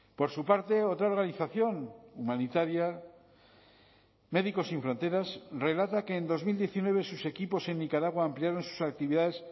por su parte otra organización humanitaria médicos sin fronteras relata que en dos mil diecinueve sus equipos en nicaragua ampliaron sus actividades